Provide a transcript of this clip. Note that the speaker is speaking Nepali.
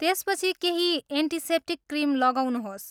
त्यसपछि केही एन्टिसेप्टिक क्रिम लगाउनुहोस्।